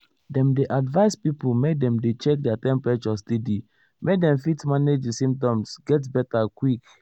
dem dey advise pipo make dem dey check their temperature steady make dem fit manage di symptoms get beta quick.